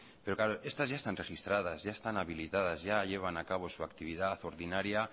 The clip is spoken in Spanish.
pero estas ya están registradas ya están habilitadas ya llevan a cabo su actividad ordinaria